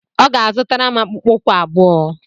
Ọ ga-azụtara m akpụkpọ ụkwụ abụọ.